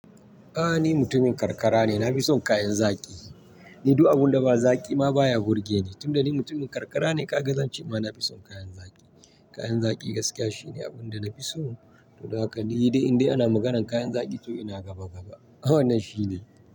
A'a ni mutumin karkara ne, na fi son kayan zaki. Ni duk abun da ba zaki ma baya gurgje. Tun da ni mutumin karkara ne ka ga zance ma na fi son kayan zaki. Kayan zaki gaskiya shine abun da na fi so. Don haka ni idan in dai ana maganan kayan zaki to ina gaba gaba. Ai wannan shi ne.